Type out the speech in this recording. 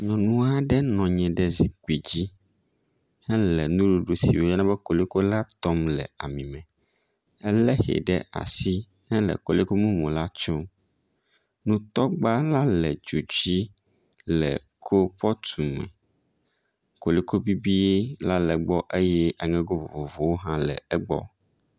Nyɔnu aɖe nɔ anyi ɖe zikpui dzi hele nuɖuɖu si woyɔna be koliko la tɔm le ami me. Elé ehɛ ɖe asi hele koliko mumu la tsom. Nutɔgba la le dzo dzi le kolpɔt me. Koliko bibi la le egbɔ eye aŋego vovovowo hã le egbɔ.